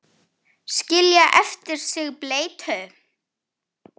Skilja eftir sig bleytu.